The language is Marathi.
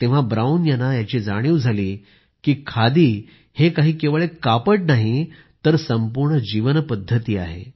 तेव्हा ब्राऊन यांना याची जाणिव झाली की खादी हे काही केवळ एक कापड नाही तर संपूर्ण जीवनपद्धती आहे